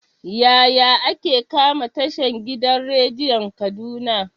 Yaya ake kama tashan gidan rediyon kaduna?